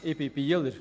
Ich bin Bieler.